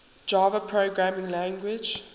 java programming language